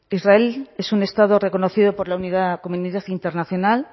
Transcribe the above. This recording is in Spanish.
israel es un estado reconocido por la comunidad internacional